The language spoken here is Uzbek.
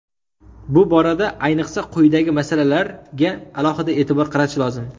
Bu borada ayniqsa quyidagi masalalarga alohida e’tibor qaratish lozim.